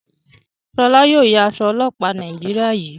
Shola yóò yá Aṣọ ọlọpa Nàìjíríà yí.